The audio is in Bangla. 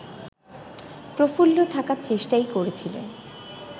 প্রফুল্ল থাকার চেষ্টাই করছিলেন